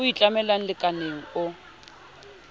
o e tlamella lekaleng o